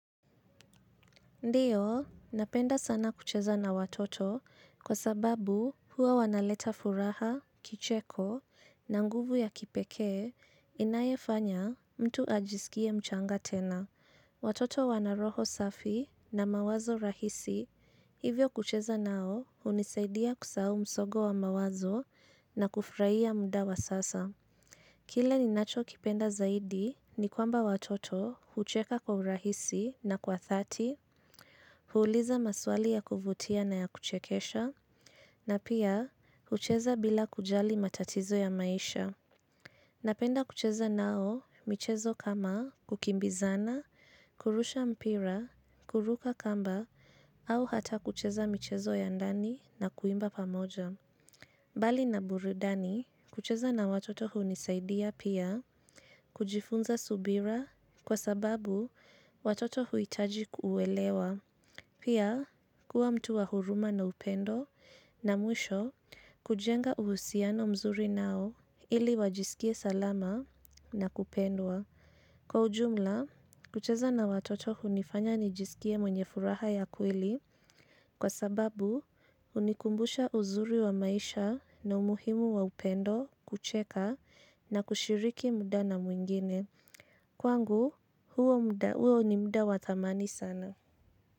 Ndiyo, napenda sana kucheza na watoto kwa sababu huwa wanaleta furaha, kicheko, na nguvu ya kipekee, inayofanya mtu ajisikie mchanga tena. Watoto wana roho safi na mawazo rahisi hivyo kucheza nao hunisaidia kusahau msongo wa mawazo na kufurahia muda wa sasa. Kile ninachokipenda zaidi ni kwamba watoto hucheka kwa urahisi na kwa dhati, huuliza maswali ya kuvutia na ya kuchekesha, na pia hucheza bila kujali matatizo ya maisha. Napenda kucheza nao michezo kama kukimbizana, kurusha mpira, kuruka kamba, au hata kucheza michezo ya ndani na kuimba pamoja. Bali na burudani, kucheza na watoto hunisaidia pia kujifunza subira kwa sababu watoto huhitaji kuelewa. Pia, kuwa mtu wa huruma na upendo na mwisho, kujenga uhusiano mzuri nao ili wajisikie salama na kupendwa. Kwa ujumla, kucheza na watoto hunifanya nijisikie mwenye furaha ya kweli kwa sababu hunikumbusha uzuri wa maisha na umuhimu wa upendo, kucheka na kushiriki muda na mwingine. Kwangu, huo ni muda wa thamani sana.